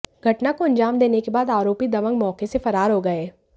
घटना को अंजाम देने के बाद आरोपी दबंग मौके से फरार हो गए